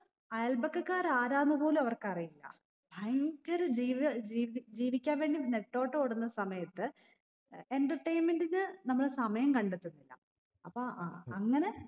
അയല്പക്കക്കാർ ആരാന്ന് പോലു അവർക്കറിയില്ല ഭയങ്കര ജീവ ജീവി ജീവിക്കാൻ വേണ്ടി നെട്ടോട്ടോടുന്ന സമയത്ത് ഏർ entertainment ന് നമ്മൾ സമയം കണ്ടെത്തുന്നില്ല അപ്പൊ അഹ് അങ്ങനെ